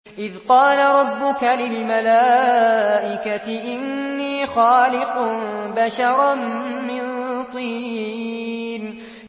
إِذْ قَالَ رَبُّكَ لِلْمَلَائِكَةِ إِنِّي خَالِقٌ بَشَرًا مِّن طِينٍ